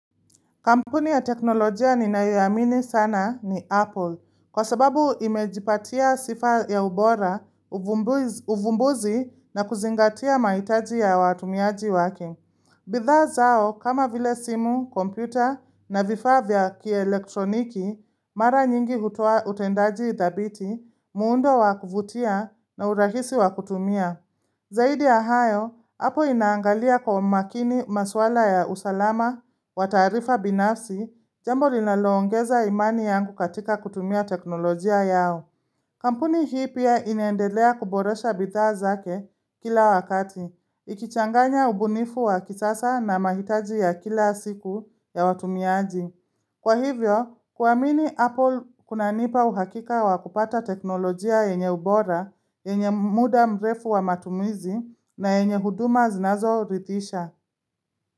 Kampuni ya teknolojia ninayoamini sana ni Apple, kwa sababu imejipatia sifa ya ubora, uvumbuzi na kuzingatia mahitaji ya watumiaji wake. Bidhaa zao, kama vile simu, kompyuta na vifaa vya kielektroniki, mara nyingi hutoa utendaji dhabiti, muundo wa kuvutia na urahisi wa kutumia. Zaidi ya hayo, hapo inaangalia kwa makini maswala ya usalama wa taarifa binafsi jambo linaloongeza imani yangu katika kutumia teknolojia yao. Kampuni hii pia inaendelea kuboresha bidhaa zake kila wakati, ikichanganya ubunifu wa kisasa na mahitaji ya kila siku ya watumiaji. Kwa hivyo, kuamini Apple kuna nipa uhakika wa kupata teknolojia yenye ubora, yenye muda mrefu wa matumizi na yenye huduma zinazoridhisha.